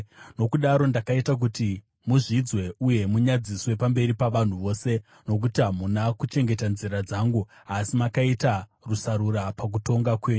“Nokudaro ndakaita kuti muzvidzwe uye munyadziswe pamberi pavanhu vose, nokuti hamuna kuchengeta nzira dzangu asi makaita rusarura pakutonga kwenyu.”